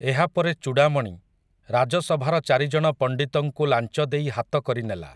ଏହାପରେ ଚୂଡ଼ାମଣି, ରାଜସଭାର ଚାରିଜଣ ପଣ୍ଡିତଙ୍କୁ ଲାଞ୍ଚ ଦେଇ ହାତ କରିନେଲା ।